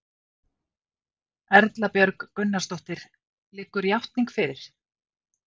Erla Björg Gunnarsdóttir: Liggur játning fyrir?